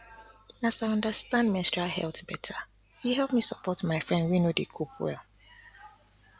na as i understand menstrual health better e help me support my friend wey no dey cope well